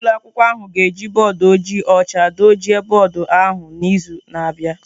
Ụlọ akwụkwọ ahụ ga-eji bọọdụ ojii ọcha dochie bọọdụ ahụ n'izu na-abịa